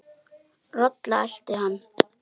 Rola elti hann.